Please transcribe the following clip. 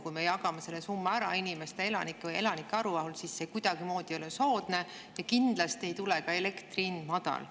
Kui me jagame selle summa ära inimeste vahel, elanike arvuga, siis see ei ole kuidagimoodi soodne ja kindlasti ei tule ka elektri hind madal.